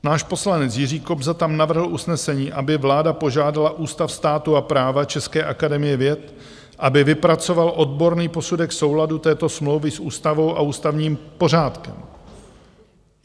Náš poslanec Jiří Kobza tam navrhl usnesení, aby vláda požádala Ústav státu a práva České akademie věd, aby vypracoval odborný posudek souladu této smlouvy s ústavou a ústavním pořádkem.